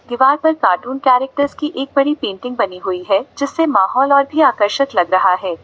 दीवार पर cartoon characters की एक बड़ी पेंटिंग बनी हुई है जिससे माहौल और भी आकर्षक लग रहा है।